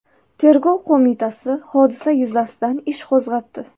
Tergov qo‘mitasi hodisa yuzasidan ish qo‘zg‘atdi.